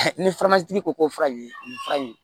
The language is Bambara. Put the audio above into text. Ni furamasigi ko fura ye nin fura in